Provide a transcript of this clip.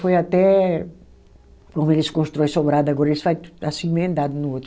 Foi até, como eles constroem sobrado agora, eles fazem assim, emendado no outro.